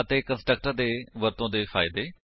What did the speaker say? ਅਤੇ ਕੰਸਟਰਕਟਰ ਦੇ ਵਰਤੋ ਦੇ ਫਾਇਦੇ